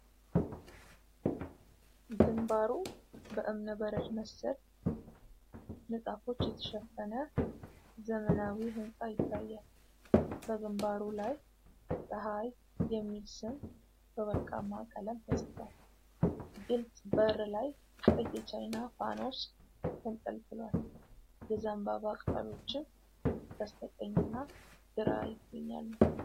ግንባሩ በእብነበረድ መሰል ንጣፎች የተሸፈነ ዘመናዊ ህንጻ ይታያል። በግንባሩ ላይ "ጸሀይ" የሚል ስም በወርቃማ ቀለም ተጽፏል። ግልፅ በር ላይ ቀይ የቻይና ፋኖስ ተንጠልጥሏል፤ የዘንባባ ቅጠሎችም በስተቀኝና ግራ ይገኛሉ።